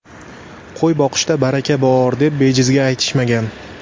Qo‘y boqishda baraka bor, deb bejizga aytishmagan.